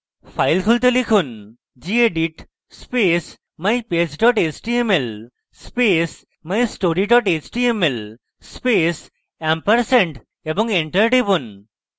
files খুলতে লিখুন gedit space mypage html space mystory html space ampersand এবং enter টিপুন